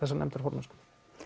þessa nefndarformennsku